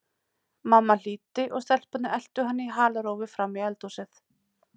Mamma hlýddi og stelpurnar eltu hana í halarófu fram í eldhúsið.